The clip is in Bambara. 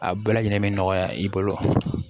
A bɛɛ lajɛlen be nɔgɔya i bolo